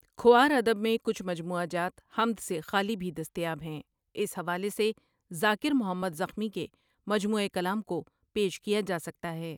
کھوار ادب میں کچھ مجموعہ جات حمد سے خالی بھی دستیاب ہیں اس حوالے سے ذاکر محمد زخمی کے مجموعہ کلام کو پیش کیا جاسکتا ہے